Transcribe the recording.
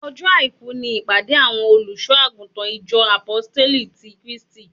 Ọjọ́ àìkú ni ìpàdé àwọn olùṣọ àgùntàn ìjọ Àpóstélì ti Kristi